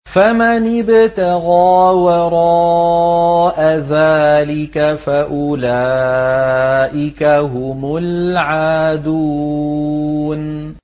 فَمَنِ ابْتَغَىٰ وَرَاءَ ذَٰلِكَ فَأُولَٰئِكَ هُمُ الْعَادُونَ